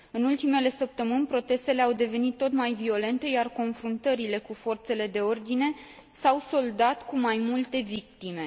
În ultimele săptămâni, protestele au devenit tot mai violente, iar confruntările cu forțele de ordine s au soldat cu mai multe victime.